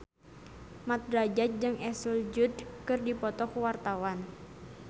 Mat Drajat jeung Ashley Judd keur dipoto ku wartawan